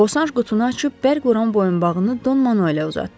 Bosanş qutunu açıb bərquran boyunbağını Don Manuelə uzatdı.